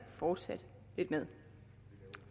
fortsat lidt med